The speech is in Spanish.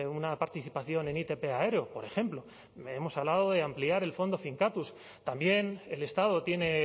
una participación en itp aéreo por ejemplo hemos hablado de ampliar el fondo finkatuz también el estado tiene